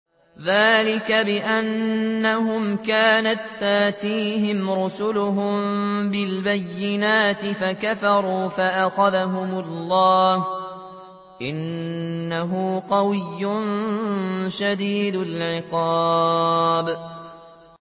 ذَٰلِكَ بِأَنَّهُمْ كَانَت تَّأْتِيهِمْ رُسُلُهُم بِالْبَيِّنَاتِ فَكَفَرُوا فَأَخَذَهُمُ اللَّهُ ۚ إِنَّهُ قَوِيٌّ شَدِيدُ الْعِقَابِ